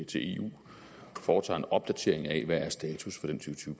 til eu foretager en opdatering af hvad status